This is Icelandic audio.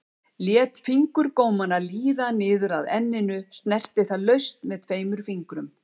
Lét fingurgómana líða niður að enninu, snerti það laust með tveimur fingrum.